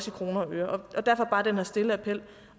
i kroner og øre og derfor bare den her stille appel